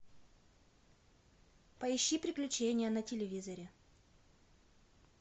поищи приключения на телевизоре